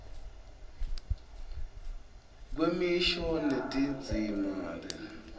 kwemisho netindzima kusezingeni